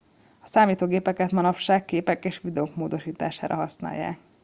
a számítógépeket manapság képek és videók módosítására használják